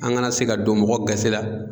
An kana se ka don mɔgɔ gasi la.